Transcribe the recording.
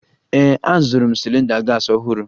Ee, azụrụ m cylinder gas ọhụrụ